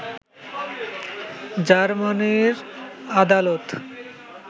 জার্মানির আদালত